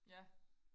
ja